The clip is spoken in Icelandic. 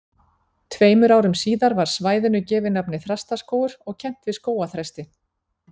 Tveimur árum síðar var svæðinu gefið nafnið Þrastaskógur og kennt við skógarþresti.